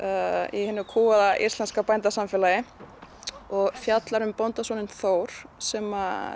í hinu íslenska bændasamfélagi fjallar um Þór sem